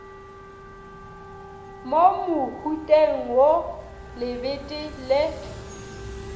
mo mohuteng wo lebete le